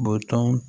Bɔtɔ